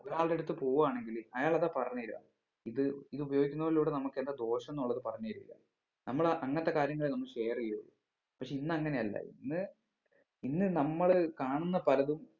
ഒരാളുടെ അടുത്ത് പോവാണെങ്കില് അയാള് അതാ പറഞ്ഞ് തെരുവ ഇത് ഇത് ഉപയോഗിക്കുന്നതിലൂടെ നമ്മുക്ക് എന്താ ദോഷംന്നുള്ളത് പറഞ്ഞ് തരുല നമ്മള് അങ്ങനത്തെ കാര്യങ്ങള് നമ്മള് share ചെയ്യരുത് പക്ഷെ ഇന്നങ്ങനെയല്ല ഇന്ന് ഇന്ന് നമ്മള് കാണുന്ന പലതും